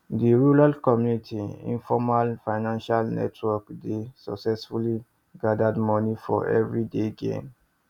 di rural community informal financial network dey successfully gathered money for everybody gain